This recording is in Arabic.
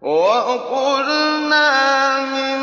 وَقُلْنَا مِن